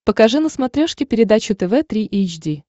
покажи на смотрешке передачу тв три эйч ди